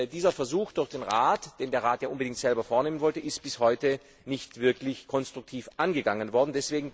Dieser Versuch durch den Rat, den der Rat ja unbedingt selbst vornehmen wollte, ist bis heute nicht wirklich konstruktiv angegangen worden.